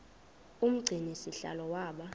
umgcini sihlalo waba